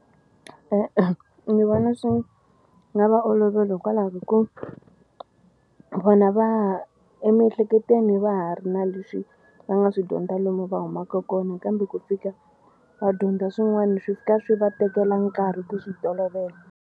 E-e ni vona swi nga va oloveli hikwalaho ka ku vona va ha emiehleketweni va ha ri na leswi va nga swi dyondza lomu va humaka kona kambe ku fika va dyondza swin'wana swi fika swi va tekela nkarhi ku swi tolovela.